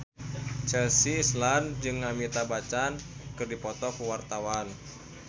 Chelsea Islan jeung Amitabh Bachchan keur dipoto ku wartawan